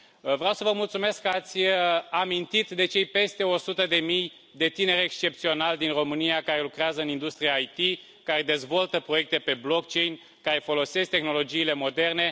Vreau să vă mulțumesc că ați amintit de cei peste o sută de mii de tineri excepționali din România care lucrează în industria IT, care dezvoltă proiecte pe blockchain care folosesc tehnologiile moderne.